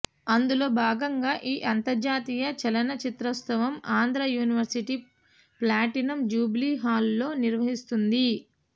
అందులో భాగంగా ఈ అంతర్జాతీయ చలన చిత్రోత్సవం ఆంధ్ర యూనివర్సీటీ ప్లాటీనం జూబిలీ హాలులో నిర్వహిస్తోంది